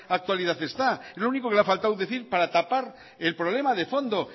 actualidad está el único que le ha faltado decir para tapar el problema de fondo